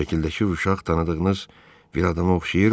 Şəkildəki bu uşaq tanıdığınız bir adama oxşayırmı?